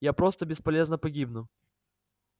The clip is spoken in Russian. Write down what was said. я просто бесполезно погибну